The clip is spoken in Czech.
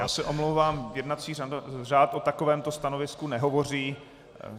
Já se omlouvám, jednací řád o takovémto stanovisku nehovoří.